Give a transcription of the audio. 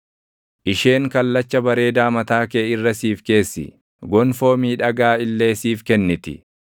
Isheen kallacha bareedaa mataa kee irra siif keessi; gonfoo miidhagaa illee siif kenniti.”